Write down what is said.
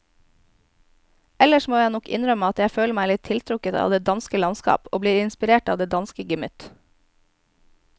Ellers må jeg nok innrømme at jeg føler meg tiltrukket av det danske landskap og blir inspirert av det danske gemytt.